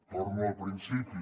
torno al principi